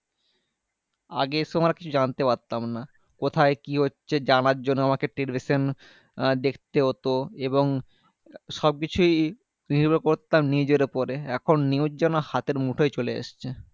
আগে তোমার কিছু জানতে পারতাম না কোথায় কি হচ্ছে জানার জন্য আমাকে television আমাকে দেখতে হতো এবং সবকিছুই নির্ভর করতাম নিজের ওপরে এখন news যেন হাতের মুঠোয় চলে এসছে